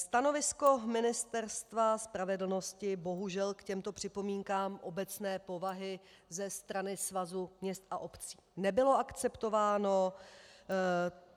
Stanovisko Ministerstva spravedlnosti bohužel k těmto připomínkám obecné povahy ze strany Svazu měst a obcí nebylo akceptováno.